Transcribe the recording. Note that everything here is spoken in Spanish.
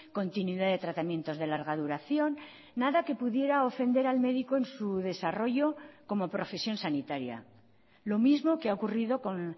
continuidad de tratamientos de larga duración nada que pudiera ofender al médico en su desarrollo como profesión sanitaria lo mismo que ha ocurrido con